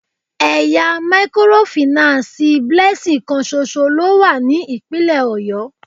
Ẹ̀ya mikorofìnánsìì Blessing kan ṣoṣo ló wà ní ìpínlè Ọ̀yọ́.